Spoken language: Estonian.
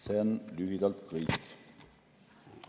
See on lühidalt kõik.